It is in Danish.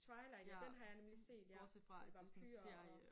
Twilight ja den har jeg nemlig set ja med vampyrer og